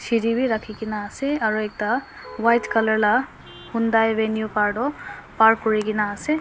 rakhigena ase aro ekta white colour la hundai venue car toh park kurigena ase.